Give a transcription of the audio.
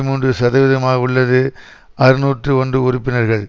மூன்று சதவிகிதமாக உள்ளது அறுநூற்று ஒன்று உறுப்பினர்கள்